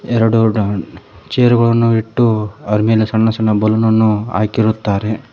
ಎರಡು ಡಾನ್ ಚೇರ್ ಗಳನ್ನು ಇಟ್ಟು ಆರ್ ಮೇಲೆ ಸಣ್ಣ ಸಣ್ಣ ಬಲೂನ್ ನನ್ನು ಹಾಕಿರುತ್ತಾರೆ.